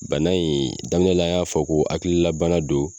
Bana in daminɛla an y'a fɔ ko hakililabana don